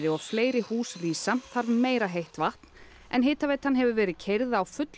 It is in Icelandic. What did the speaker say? og fleiri hús rísa þarf meira heitt vatn en hitaveitan hefur verið keyrð á fullum